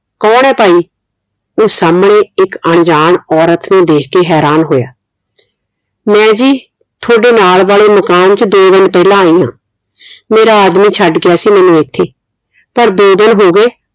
ਕੌਣ ਹੈ ਭਾਈ ਉਹ ਸਾਹਮਣੇ ਇੱਕ ਅਣਜਾਣ ਔਰਤ ਨੂੰ ਦੇਖ ਕੇ ਹੈਰਾਨ ਹੋਇਆ ਮੈਂ ਜੀ ਤੁਹਾਡੇ ਨਾਲ ਵਾਲੇ ਮਕਾਨ ਚ ਦੋ ਦਿਨ ਪਹਿਲਾਂ ਆਈ ਆ ਮੇਰਾ ਆਦਮੀਂ ਛੱਡ ਗਿਆ ਸੀ ਮੈਨੂੰ ਇਥੇ ਪਰ ਦੋ ਦਿਨ ਹੋ ਗਏ